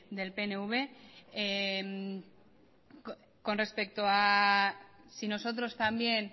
con respecto a si nosotros también